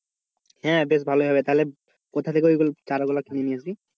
হ্যাঁ বেশ ভালোই হবে তাহলে কোথা থেকে ওই চারাগুলা কিনে নিয়ে আসবি?